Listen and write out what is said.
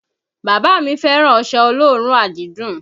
Bàbá mi fẹ́ràn ọṣẹ olóòórùn àdídùn